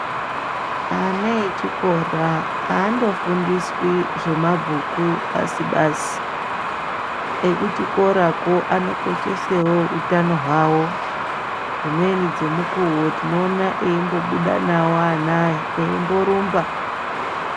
Ana echikora aandofundiswi zvemabhuku basi basi ekuchikorako anokoshesawo utano hwavo dzimweni dzemukuwo tinoona eimbobuda nawo ana aya eimborumba.